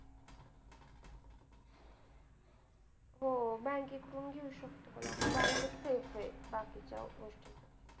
हो! bank कडून घेऊ शकतो आपण bank त safe आहे बाकीच्या गोष्टींपेक्षा.